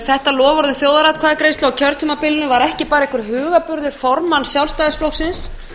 þetta loforð um þjóðaratkvæðagreiðslu á kjörtímabilinu var ekki bara einhver hugarburður formanns sjálfstæðisflokksins